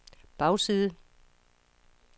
bagside